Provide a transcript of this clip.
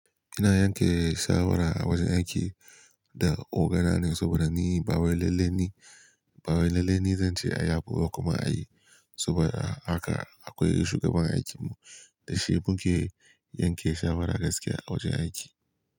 Ina yanke shawara a wajen aiki da ogana ne saboda ni bawai lalle ni bawai. Bawai lalle ni zance ayi abu ba kuma ayi. Saboda haka akwai shugaban aikinmu da shi muke yanke shawara gaskiya a wajen aiki.